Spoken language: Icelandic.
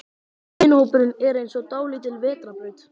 Vinahópurinn er eins og dálítil vetrarbraut.